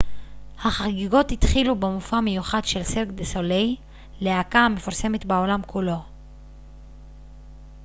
החגיגות התחילו במופע מיוחד של סירק דה סוליי להקה המפורסמת בעולם כולו